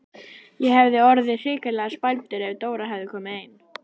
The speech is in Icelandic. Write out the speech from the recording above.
Ég hefði orðið hrikalega spældur ef Dóra hefði komið ein!